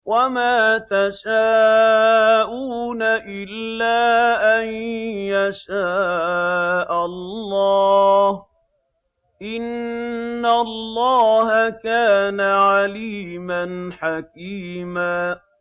وَمَا تَشَاءُونَ إِلَّا أَن يَشَاءَ اللَّهُ ۚ إِنَّ اللَّهَ كَانَ عَلِيمًا حَكِيمًا